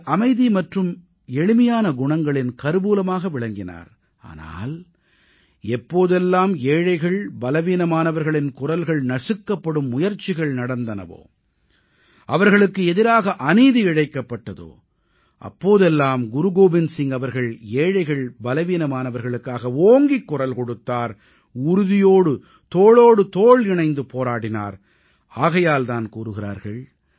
அவர் அமைதி மற்றும் எளிமையான குணங்களின் கருவூலமாக விளங்கினார் ஆனால் எப்போதெல்லாம் ஏழைகள் பலவீனமானவர்களின் குரல்கள் நசுக்கப்படும் முயற்சிகள் நடந்தனவோ அவர்களுக்கு எதிராக அநீதி இழைக்கப்பட்டதோ அப்போதெல்லாம் குரு கோபிந்த் சிங் அவர்கள் ஏழைகள் பலவீனமானவர்களுக்காக ஓங்கிக் குரல் கொடுத்தார் உறுதியோடு தோளோடு தோள் இணைந்து போராடினார் ஆகையால் தான் கூறுகிறார்கள்